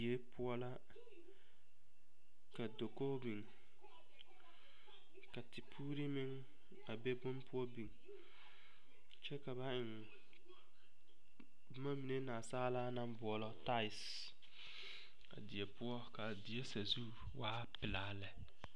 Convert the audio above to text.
Die poɔ la ka dakogi biŋ ka tepoore meŋ be boŋ poɔ biŋ kyɛ ka ba eŋ boma mine nansaala naŋ boɔlɔ taese ka die poɔ a die sazu a waa pelaa la lɛ.